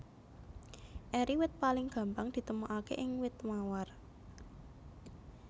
Eri wit paling gampang ditemokaké ing wit mawar